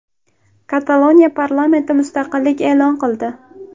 Kataloniya parlamenti mustaqillik e’lon qildi.